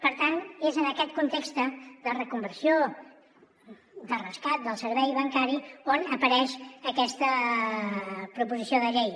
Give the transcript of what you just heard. per tant és en aquest context de reconversió de rescat del servei bancari on apareix aquesta proposició de llei